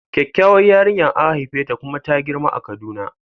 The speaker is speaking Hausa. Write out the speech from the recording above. Kyakkyawar yarinya an haifeta kuma ta girma a kaduna.